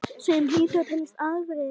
Sem hlýtur að teljast afrek.